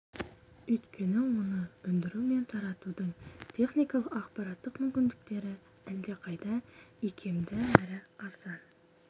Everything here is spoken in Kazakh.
өйткені оны өндіру мен таратудың техникалық аппараттық мүмкіндіктері әлдеқайда икемді әрі арзан